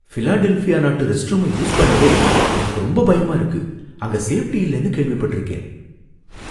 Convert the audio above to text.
Philadelphia நாட்டு restroom use பண்ணவே எனக்கு ரொம்ப பயமா இருக்கு, அங்க சேஃப்டி இல்லனு கேள்விப்பட்டிருக்கேன்